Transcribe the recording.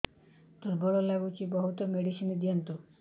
ଦୁର୍ବଳ ଲାଗୁଚି ବହୁତ ମେଡିସିନ ଦିଅନ୍ତୁ